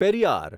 Periyar